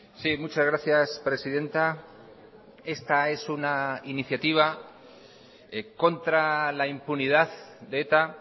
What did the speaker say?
sí muchas gracias presidenta esta es una iniciativa contra la impunidad de eta